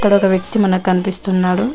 ఈడొక ఒక వ్యక్తి మనకు కనిపిస్తున్నాడు.